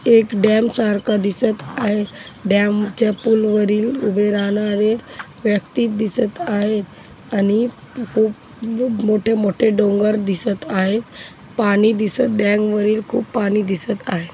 एक डॅम सारखा दिसत आहे डॅम च्या पूल वरील उभे राहणारे व्यक्ती दिसत आहेत आणि खूप मोठे मोठे डोंगर दिसत आहे पाणी दिसत डॅम वरील खूप पाणी दिसत आहे.